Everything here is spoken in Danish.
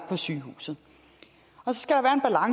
på sygehuset